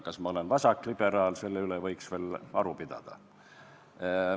Kas ma olen vasakliberaal, selle üle võiks veel aru pidada.